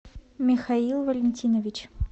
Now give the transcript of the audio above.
михаил валентинович